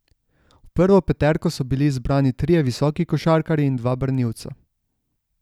V prvo peterko so bili izbrani trije visoki košarkarji in dva branilca.